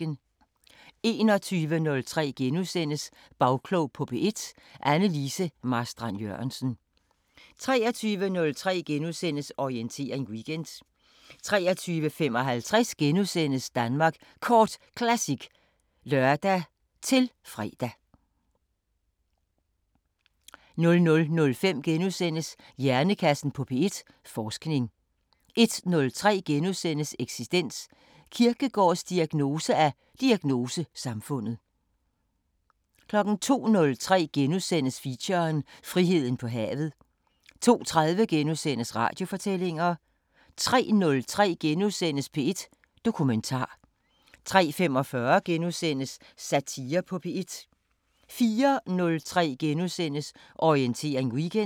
21:03: Bagklog på P1: Anne Lise Marstrand-Jørgensen * 23:03: Orientering Weekend * 23:55: Danmark Kort Classic *(lør-fre) 00:05: Hjernekassen på P1: Forskning * 01:03: Eksistens: Kierkegaards diagnose af diagnosesamfundet * 02:03: Feature: Friheden på havet * 02:30: Radiofortællinger * 03:03: P1 Dokumentar * 03:45: Satire på P1 * 04:03: Orientering Weekend *